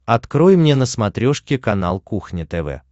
открой мне на смотрешке канал кухня тв